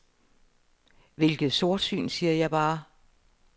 Hvilket sortsyn, siger jeg bare.